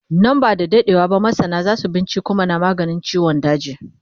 Nan ba da daɗewa ba masana zasu binciko mana maganin ciwon daji